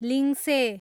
लिङ्से